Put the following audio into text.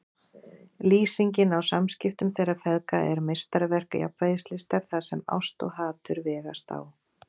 Lýsingin á samskiptum þeirra feðga er meistaraverk jafnvægislistar þar sem ást og hatur vegast á.